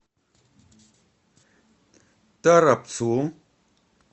торопцу